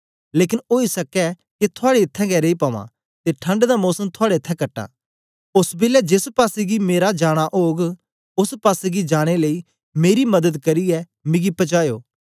लेकन ओई सकै के थुआड़े इत्थैं गै रेई पवां ते ठंड दा मोसम थुआड़े इत्थैं कटां ओस बेलै जेस पासेगी मेरा जाना ओग ओस पासेगी जाने लेई मेरी मदद करियै मिगी पजायो